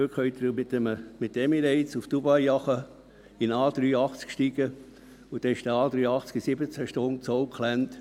heute können Sie in einen A380 steigen und mit den «Emirates» nach Dubai fliegen, und dann ist der A380 in 17 Stunden in Auckland.